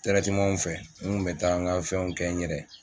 Tɛrɛtemanw fɛ n kun bɛ taa n ka fɛnw kɛ n yɛrɛ ye.